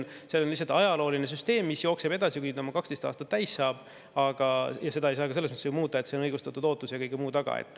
See on lihtsalt ajalooline süsteem, mis jookseb edasi, kuni 12 aastat täis saab, ja seda ei saa ka muuta, sest see on õigustatud ootuse ja kõige muu taga.